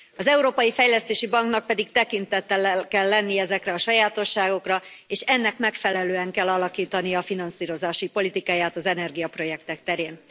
Az Európai Fejlesztési Banknak pedig tekintettel kell lenni ezekre a sajátosságokra, és ennek megfelelően kell alakítania finanszírozási politikáját az energiaprojektek terén.